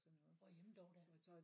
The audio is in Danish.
Hvorhenne dog da?